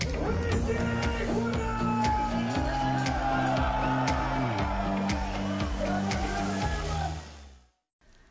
вы здесь ура